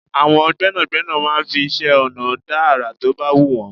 Àwọn gbẹ́nàgbẹ́nà máa ń fi iṣẹ́-ọ̀nà dá àrà to bá wù wọ́n.